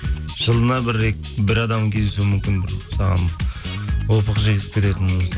жылына бір адам кездесуі мүмкін бір саған опық жегізіп кететін